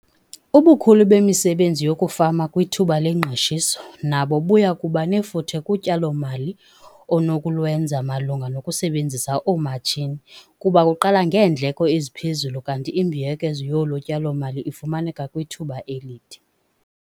Ubukhulu bemisebenzi yokufama kwithuba lengqeshiso nabo buya kuba nefuthe kutyalo-mali onokulwenza malunga nokusebenzisa oomatshini kuba kuqala ngeendleko eziphezulu kanti imbuyekezo yolo tyalo-mali ifumaneka kwithuba elide.